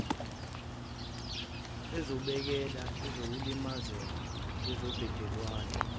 ezobhekela ukungalimazeki kwezobudlelwane